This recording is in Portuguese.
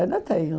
Ainda tenho.